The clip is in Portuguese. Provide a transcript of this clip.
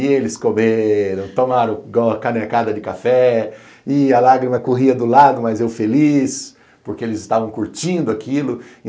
E eles comeram, tomaram uma canecada de café e a lágrima corria do lado, mas eu feliz, porque eles estavam curtindo aquilo.